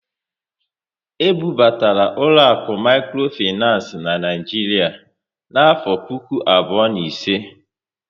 E bu batara ụlọaku mikrofinancé n'Naijiria n'afọ puku abụọ na ise